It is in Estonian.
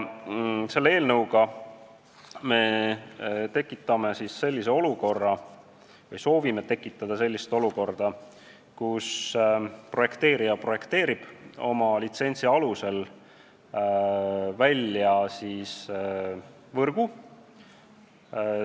Me soovime selle eelnõuga tekitada olukorra, kus projekteerija projekteerib oma litsentsi alusel võrgu.